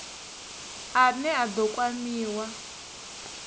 a ne a ḓo kwamiwa